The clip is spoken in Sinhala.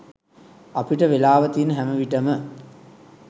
අපිට වෙලාව තියන හැම විටම